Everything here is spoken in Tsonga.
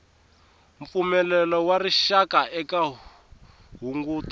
mpfumelelo wa rixaka eka hunguto